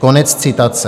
Konec citace.